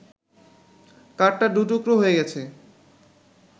কাঠটা দু টুকরো হয়ে গেছে